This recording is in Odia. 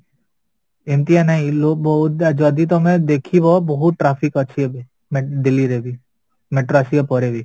ଏମିତିଆ ନାହିଁ ଯଦି ତମେ ଦେଖିବା ବହୁତ traffic ଅଛି ଏବେ ମାନେ delhi ରେ ବି metro ଆସିବା ପରେ ବି